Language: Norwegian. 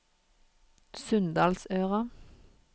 Sunndalsøra